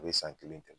A bɛ san kelen kɛ